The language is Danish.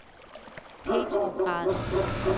Petrograd